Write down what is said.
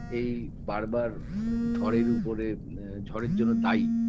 এই বারবার ধড়ের উপরে আ ঝড়ের জন্য দায়ী